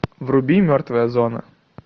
вруби мертвая зона